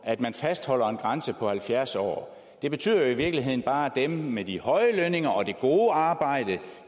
at man fastholder en grænse på halvfjerds år det betyder jo i virkeligheden bare at dem med de høje lønninger og det gode arbejde